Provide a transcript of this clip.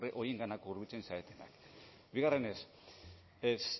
horienganako hurbiltzen zaretenak bigarrenez ez